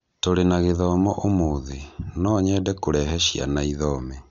Tũrĩ na gĩthomo ũmũthĩ, no nyende kũrehe ciana ĩthome